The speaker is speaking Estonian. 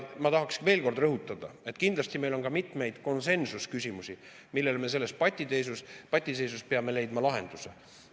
Ma tahan veel kord rõhutada, et kindlasti on meil ka mitmeid konsensusküsimusi, millele me selles patiseisus peame leidma lahenduse.